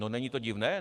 No, není to divné?